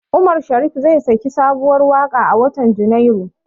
Umar Sharif zai saki sabuwar waƙa a watan Junairu.